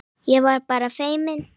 Ég var bara feimin!